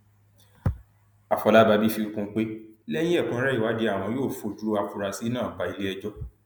àfọlábàbí fi kún un pé lẹyìn ẹkúnrẹrẹ ìwádìí àwọn yóò fojú afurasí náà bá iléẹjọ